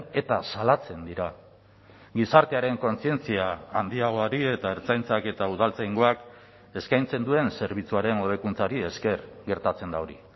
eta salatzen dira gizartearen kontzientzia handiagoari eta ertzaintzak eta udaltzaingoak eskaintzen duen zerbitzuaren hobekuntzari esker gertatzen da hori